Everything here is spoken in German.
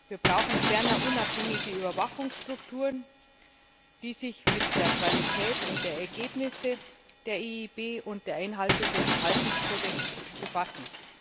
Wir brauchen ferner unabhängige Überwachungsstrukturen, die sich mit der Qualität der Ergebnisse der EIB und der Einhaltung des Verhaltenskodex befassen.